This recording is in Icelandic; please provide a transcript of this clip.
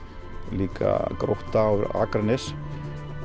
líka Grótta og Akranes